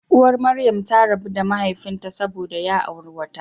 Uwar Maryam ta rabu da mahaifinta saboda ya auri wata.